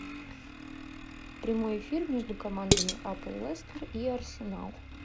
прямой эфир между командами апл лестер и арсенал